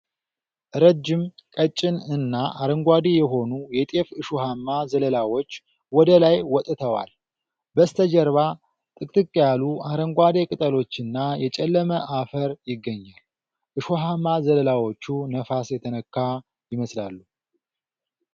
ረጅም፣ ቀጭን እና አረንጓዴ የሆኑ የጤፍ እሾሃማ ዘለላዎች ወደ ላይ ወጥተዋል። በስተጀርባ ጥቅጥቅ ያሉ አረንጓዴ ቅጠሎችና የጨለመ አፈር ይገኛል። እሾሃማ ዘለላዎቹ ነፋስ የተነካ ይመስላሉ።